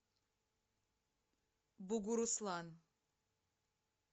бугуруслан